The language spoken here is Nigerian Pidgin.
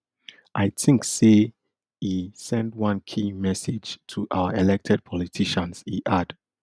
i think say [e] send one key message to our elected politicians e add